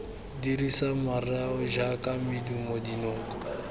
dirisa mareo jaaka medumo dinoko